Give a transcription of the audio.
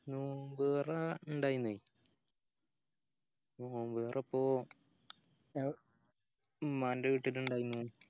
നോമ്പ് തൊറ ഇണ്ടായിന് നോമ്പ് തൊറ ഇപ്പൊ ഉമ്മാന്റെ വീട്ടീന്ന് ഇണ്ടായിന്